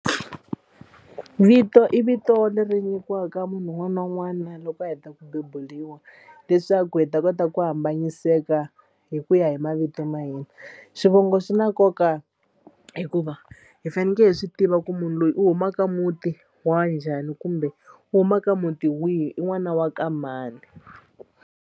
Vito i vito leri nyikiwaka munhu un'wana na un'wana loko a heta ku bebuliwa leswaku hi ta kota ku hambanyiseka hi ku ya hi mavito ma hina. Swivongo swi na nkoka hikuva hi faneke hi swi tiva ku munhu loyi u humaka muti wa njhani kumbe u huma ka muti wihi i n'wana wa ka mani.